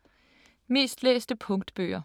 Mest læste punktbøger